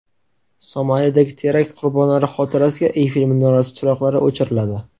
Somalidagi terakt qurbonlari xotirasiga Eyfel minorasi chiroqlari o‘chiriladi.